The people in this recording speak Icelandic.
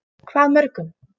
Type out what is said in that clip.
Hvað mörgum?